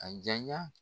A janya